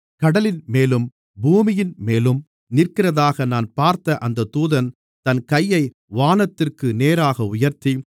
கடலின்மேலும் பூமியின்மேலும் நிற்கிறதாக நான் பார்த்த அந்த தூதன் தன் கையை வானத்திற்கு நேராக உயர்த்தி